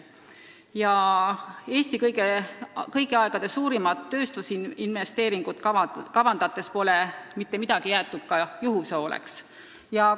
Seda Eesti kõigi aegade suurimat tööstusinvesteeringut kavandades pole mitte midagi juhuse hooleks jäetud.